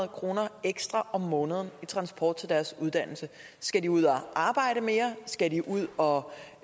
kroner ekstra om måneden i transport til deres uddannelse skal de ud og arbejde mere skal de ud og